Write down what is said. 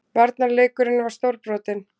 Varnarleikurinn var stórbrotinn